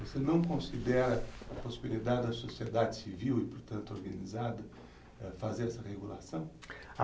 Você não considera a prosperidade da sociedade civil e, portanto, organizada fazer essa regulação?